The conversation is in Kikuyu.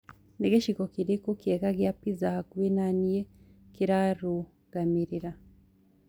ni gicigo kirikũ kiega gĩa pizza hakũhĩ na nii kirarugamirira